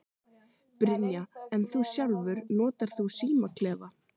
Brynja: En þú sjálfur, notar þú símaklefa?